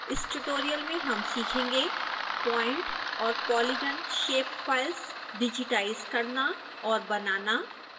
इस ट्यूटोरियल में हम सीखेंगे point और polygon shape फाइल्स डिजिटाइज करना और बनाना